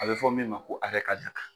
A bɛ fɔ min ma ko hakɛ ka jan